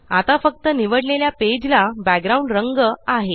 आता फक्त निवडलेल्या पेजला बॅकग्राउंड रंग आहे